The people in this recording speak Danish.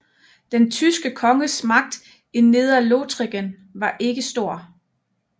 Den tyske konges magt i Nedrelothringen var ikke stor